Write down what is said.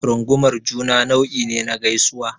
Rungumar juna nau'i ne na gaisuwa.